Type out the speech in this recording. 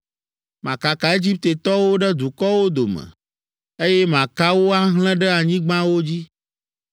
Makaka Egiptetɔwo ɖe dukɔwo dome, eye maka wo ahlẽ ɖe anyigbawo dzi.